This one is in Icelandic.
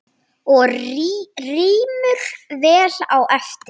Og rymur vel á eftir.